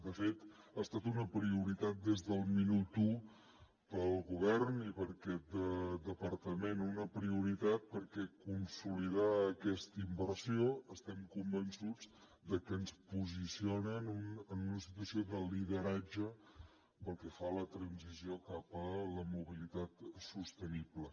de fet ha estat una prioritat des del minut u per al govern i per a aquest departament una prioritat perquè consolidar aquesta inversió estem convençuts de que ens posiciona en una situació de lideratge pel que fa a la transició cap a la mobilitat sostenible